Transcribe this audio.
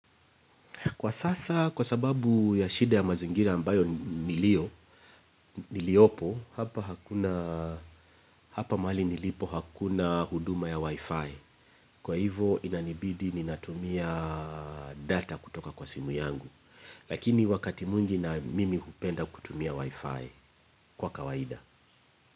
Kwa sasa, kwa sababu ya shida ya mazingira ambayo niliopo, hapa mahali nilipo hakuna huduma ya wifi. Kwa hivo inanibidi ninatumia data kutoka kwa simu yangu. Lakini wakati mwingi na mimi hupenda kutumia wifi kwa kawaida.